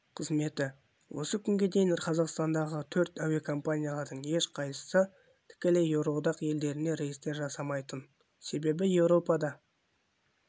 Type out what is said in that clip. қызметі осы күнге дейін қазақстандағы төрт әуекомпаниялардың ешқайсысы тікелей еуроодақ елдеріне рейстер жасамайтын себебі еуропада